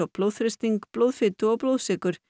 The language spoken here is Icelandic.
blóðþrýsting blóðfitu og blóðsykur